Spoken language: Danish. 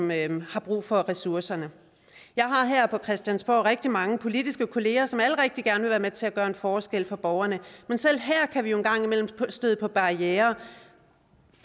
man har brug for ressourcerne jeg har her på christiansborg rigtig mange politiske kolleger som alle rigtig gerne vil være med til at gøre en forskel for borgerne men selv her kan vi jo en gang imellem støde på barrierer